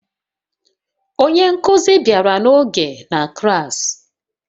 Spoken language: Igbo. Onye nkuzi bịara n'oge na klas